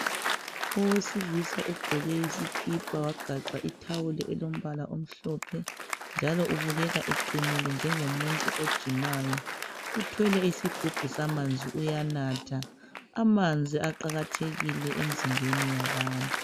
Owesilisa ugqoke isikipa wagaxa ithawulo elombala omhlophe njalo ubukeka eqinile njengomuntu ojimayo. Uthwele isigubhu samanzi uyanatha, amanziaqakathekile emzimbeni yabantu.